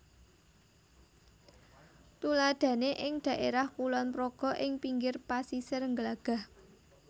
Tuladhané ing dhaérah Kulon Progo ing pinggir pasisir Glagah